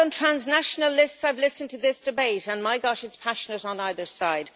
On transnational lists, I have listened to this debate and my God it is passionate on either side.